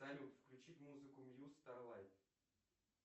салют включить музыку мьюз старлайт